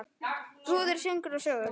Brúður, söngur og sögur.